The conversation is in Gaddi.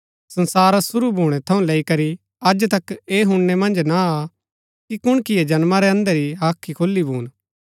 संसारा शुरू भूणै थऊँ लैई करी अज तक ऐह हुणनै मन्ज ना आ कि कुणकिए जन्मा रै अंधे री हाख्री खोली भून